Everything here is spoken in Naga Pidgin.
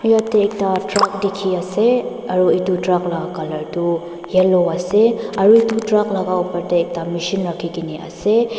yeti ekta truck dikhi ase itu truck laga colour tu yellow ase aru itu truck laga opar teh ekta machine rakhigena ase.